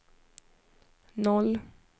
noll